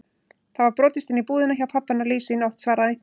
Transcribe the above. Það var brotist inn í búðina hjá pabba hennar Lísu í nótt svaraði einhver.